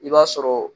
I b'a sɔrɔ